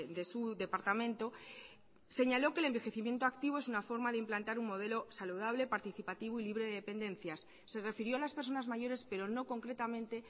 de su departamento señaló que el envejecimiento activo es una forma de implantar un modelo saludable participativo y libre de dependencias se refirió a las personas mayores pero no concretamente